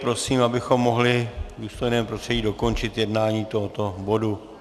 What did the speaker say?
Prosím, abychom mohli v důstojném prostředí dokončit jednání tohoto bodu.